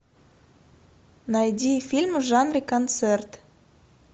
найди фильм в жанре концерт